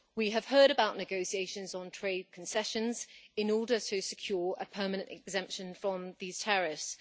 We have heard about negotiations on trade concessions in order to secure a permanent exemption from these tariffs.